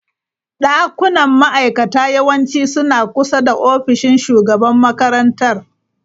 Dakunan ma'aikata yawanci suna kusa da ofishin shugaban makarantar.